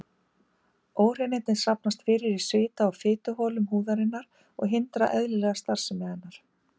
Óhreinindin safnast fyrir í svita- og fituholum húðarinnar og hindra eðlilega starfsemi hennar.